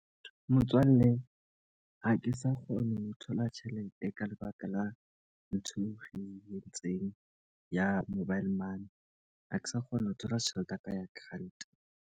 Motswalle, ha ke sa kgone ho thola tjhelete ka lebaka la ntho e re entseng ya mobile money. Ha ke sa kgona ho thola tjhelete ya ka ya grant.